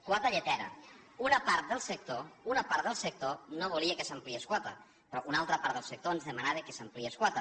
quota lletera una part del sector no volia que s’ampliés quota però una altra part del sector ens demanava que s’ampliés quota